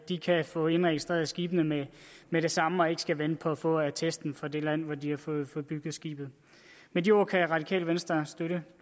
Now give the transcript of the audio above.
de kan få indregistreret skibene med med det samme og ikke skal vente på at få attesten fra det land hvor de har fået bygget skibet med de ord kan radikale venstre støtte